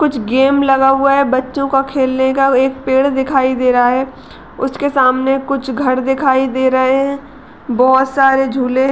कुछ गेम लगा हुआ है बच्चों का खेलने का। एक पेड़ दिखाई दे रहा है। उसके सामने कुछ घर दिखाई दे रहे हैं। बोहोत सारे झूले --